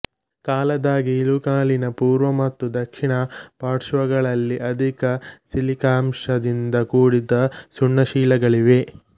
ಕಲಾದಗಿ ಇಳುಕಲಿನ ಪೂರ್ವ ಮತ್ತು ದಕ್ಷಿಣ ಪಾರ್ಶ್ವಗಳಲ್ಲಿ ಅಧಿಕ ಸಿಲಿಕಾಂಶದಿಂದ ಕೂಡಿದ ಸುಣ್ಣಶಿಲೆಗಳಿವೆ